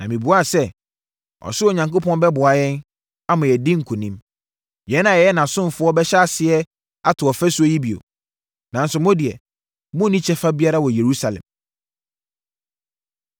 Na mebuaa sɛ, “Ɔsoro Onyankopɔn bɛboa yɛn, ama yɛadi nkonim. Yɛn a yɛyɛ nʼasomfoɔ bɛhyɛ aseɛ ato ɔfasuo yi bio. Nanso, mo deɛ monni kyɛfa biara wɔ Yerusalem.”